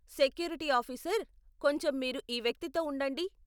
Security officer , కొంచెం మీరు ఈ వ్యక్తి తో ఉండండి.